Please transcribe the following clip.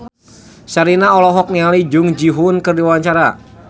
Sherina olohok ningali Jung Ji Hoon keur diwawancara